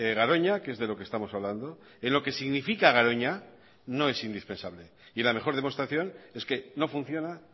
garoña que es de lo que estamos hablando en lo que significa garoña no es indispensable y la mejor demostración es que no funciona